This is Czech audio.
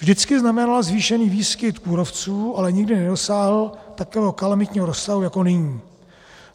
Vždycky znamenala zvýšený výskyt kůrovců, ale nikdy nedosáhl takového kalamitního rozsahu jako nyní.